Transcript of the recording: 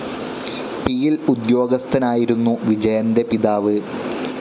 പിയിൽ ഉദ്യോഗസ്ഥനായിരുന്നു വിജയൻ്റെ പിതാവ്.